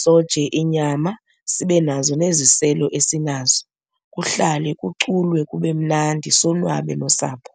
soje inyama sibe nazo neziselo esinazo. Kuhlale kuculwe kube mnandi, sonwabe nosapho.